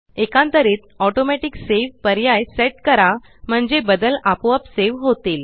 एकांतरित automatic save पर्याय set करा म्हणजे बदल आपोआप सेव होतील